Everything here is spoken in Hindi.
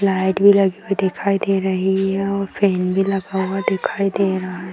लाइट भी लगी हुई दिखाई दे रही है और फैन भी लगा हुआ दिखाई दे रहा है।